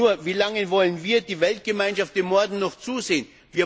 Nur, wie lange wollen wir, die Weltgemeinschaft, dem Morden noch zusehen?